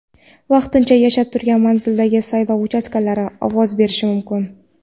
vaqtincha yashab turgan manzilidagi saylov uchastkasida ovoz berishi mumkin.